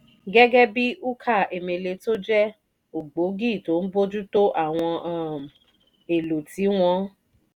gẹ́gẹ́ bí ukah emele tó jẹ́ ògbógi tó ń bójú tó àwọn ohun um èlò tí wọ́n